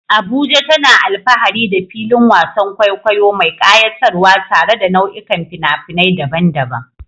Abuja tana alfahari da filin wasan kwaikwayo mai kayatarwa tare da nau'ikan fina-finai daban-daban.